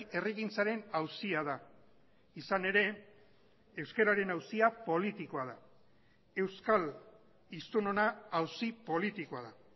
herrigintzaren auzia da izan ere euskararen auzia politikoa da euskal hiztunona auzi politikoa da